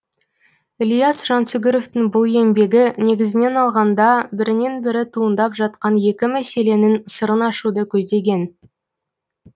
ілияс жансүгіровтің бұл еңбегі негізінен алғанда бірінен бірі туындап жатқан екі мәселенің сырын ашуды көздеген